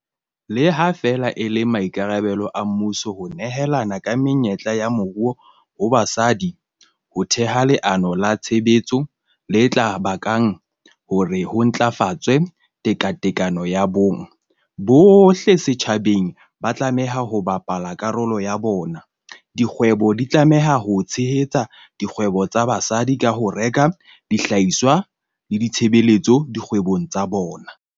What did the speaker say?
Le ha feela e le maikarabelo a mmuso ho nehela ka menyetla ya moruo ho basadi ho theha leano la tshebetso le tla bakang hore ho ntlafatswe tekatekano ya bong, bohle setjhabeng ba tlameha ho bapala karolo ya bona. Dikgwebo di tlameha ho tshehetsa dikgwebo tsa basadi ka ho reka dihlahiswa le ditshebeletso dikgwebong tsa bona.